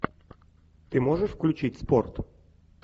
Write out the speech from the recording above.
ты можешь включить спорт